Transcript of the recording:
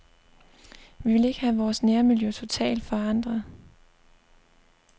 Vi vil ikke have vores nærmiljø totalt forandret.